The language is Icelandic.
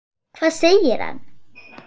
Hvað segir hann?